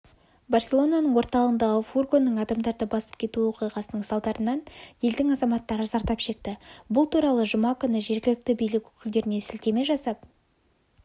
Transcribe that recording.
барселонының орталығындағы фургонның адамдарды басып кетуі оқиғасының салдарынан елдің азаматтары зардап шекті бұл туралы жүма күні жергілікті билік өкілдеріне сілтеме жасап